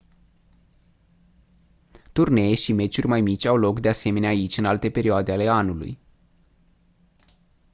turnee și meciuri mai mici au loc de asemenea aici în alte perioade ale anului